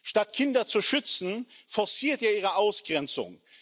Statt Kinder zu schützen, forciert er ihre Ausgrenzung.